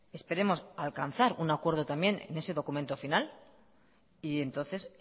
esperemos alcanzar un acuerdo también en ese documento final y entonces